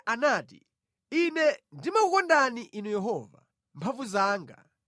Davide anati: Ine ndimakukondani Inu Yehova, mphamvu zanga.